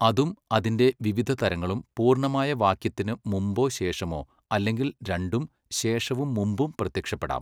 അതും അതിന്റെ വിവിധ തരങ്ങളും പൂർണ്ണമായ വാക്യത്തിന് മുമ്പോ ശേഷമോ അല്ലെങ്കിൽ രണ്ടും ശേഷവും മുമ്പും പ്രത്യക്ഷപ്പെടാം.